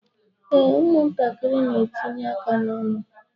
Ee, ụmụ ntakịrị n'etinye aka ha n'ọnụ.